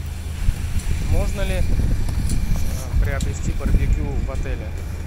можно ли приобрести барбекю в отеле